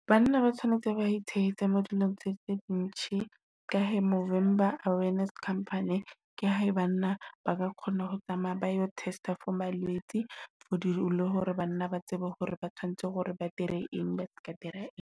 Banna ba tshwanetse ba itshehetse mo dilong tse tse di ntshi, ka he November Awareness Campaign ke hae banna ba ka kgona ho tsamaya ba yo test for malwetse. For di le hore banna ba tsebe hore ba tshwanetse hore ba dire eng ba se ka dira eng.